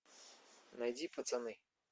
найди пацаны